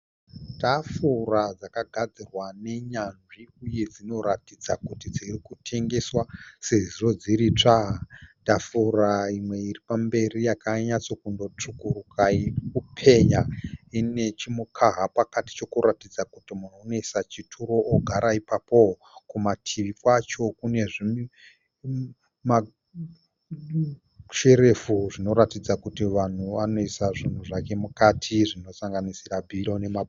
Tafura dzakagadzirwa nenyanzvi uye dzinoratidza kuti dzirikutengeswa sezvo dziri itsva. Tafura imwe iripamberi yakanyatsotsvukuruka irikupenya inechimukaha pakati chokuratidza kuti munhu unoisa chituru ogara ipapo. Kumativi kwacho kune masherefu anoratidza kuti vanhu vanoisa mabhiro ne mapenzura .